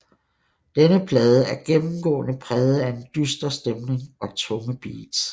Denne plade er gennemgående præget af en dyster stemning og tunge beats